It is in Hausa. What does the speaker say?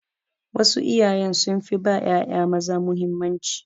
Wasu iyaye sun fi ba ƴaƴa maza mahimmanci.